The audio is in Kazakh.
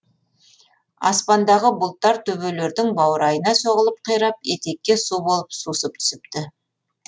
аспандағы бұлттар төбелердің баурайына соғылып қирап етекке су болып сусып түсіпті